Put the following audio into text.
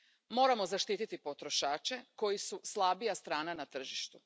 Moramo zaštiti potrošače koji su slabija strana na tržištu.